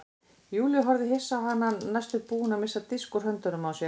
Júlía horfði hissa á hana næstum búin að missa disk úr höndunum á sér.